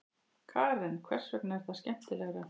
Karen: Hvers vegna er það skemmtilegra?